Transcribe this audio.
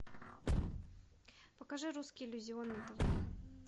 покажи русский иллюзион на тв